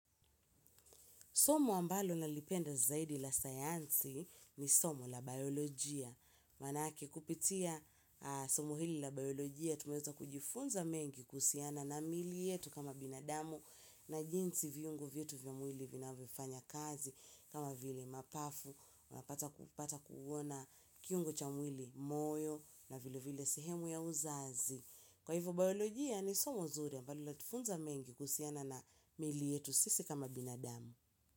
Somo ambalo nalipenda zaidi la sayansi ni somo la biolojia. Manake kupitia somo hili la biolojia, tumeweza kujifunza mengi kusiana na mili yetu kama binadamu na jinsi viungo vietu vya mwili vinavofanya kazi kama vile mapafu, wapata kuona kiungo cha mwili moyo na vile vile sehemu ya uzazi. Kwa hivyo, biolojia ni somo zuri ambalo latifunza mengi kusiana na mili yetu sisi kama binadamu. Kwa hivyo.